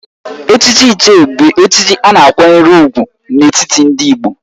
Echichi Ichie bụ echichi a na-akwanyere ùgwù n'etiti ndị Igbo